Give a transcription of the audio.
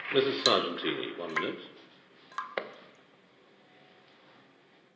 President Evo Morales van Bolivia wil van Moskou naar huis vliegen.